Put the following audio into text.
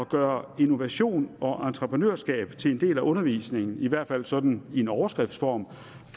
gøre innovation og entreprenørskab til en del af undervisningen i hvert fald sådan i en overskriftsform